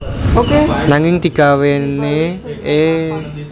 Nanging digawéne e gamelanKu duwéni ancas supaya bisa dadi media pembelajaran